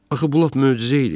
Axı bu lap möcüzə idi.